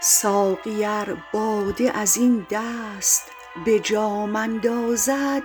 ساقی ار باده از این دست به جام اندازد